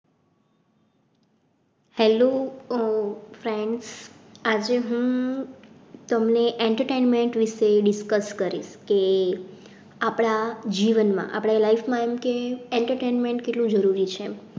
Hello આહ friends આજે હું તમને entertainment વિશે discuss કરીશ કે આપડા જીવનમાં આપણે life માં એમકે entertainment કેટલું જરૂરી છે.